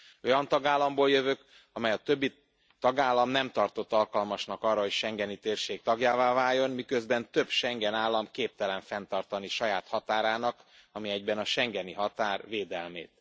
Olyan tagállamból jövök, amelyet a többi tagállam nem tartott alkalmasnak arra, hogy a schengeni térség tagjává váljon, miközben több Schengen állam képtelen fenntartani saját határának ami egyben a schengeni határ védelmét.